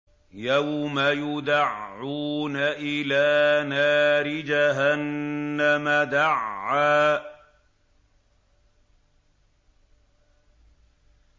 يَوْمَ يُدَعُّونَ إِلَىٰ نَارِ جَهَنَّمَ دَعًّا